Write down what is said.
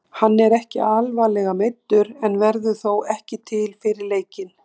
Hann er ekki alvarlega meiddur en verður þó ekki til fyrir leikinn.